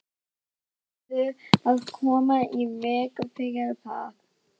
Hún verður að koma í veg fyrir það.